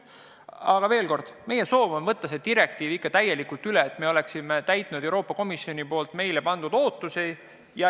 Aga veel kord: meie soov on võtta see direktiiv ikka täielikult üle, et täita ootusi, mis Euroopa Komisjon meile pannud on.